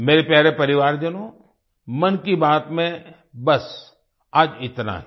मेरे प्यारे परिवारजनों मन की बात में बस आज इतना ही